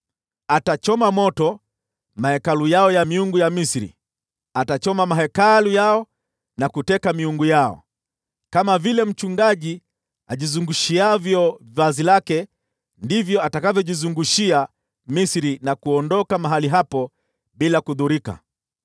Atachoma moto mahekalu yao ya miungu ya Misri, atachoma mahekalu yao na kuteka miungu yao. Kama vile mchungaji ajizungushiavyo vazi lake ndivyo atakavyojizungushia Misri na kuondoka mahali hapo bila kudhurika.